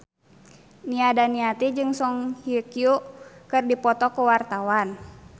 Nia Daniati jeung Song Hye Kyo keur dipoto ku wartawan